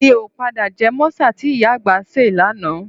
Mi ò pàpà jẹ mọ́sà tí ìyá àgbà ṣe lánàá